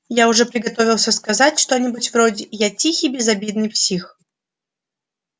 я уже приготовился сказать что-нибудь вроде я тихий безобидный псих